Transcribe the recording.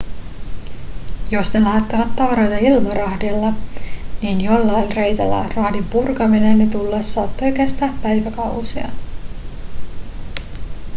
jos ne lähettivät tavaroita ilmarahdilla niin joillain reiteillä rahdin purkaminen ja tullaus saattoi kestää päiväkausia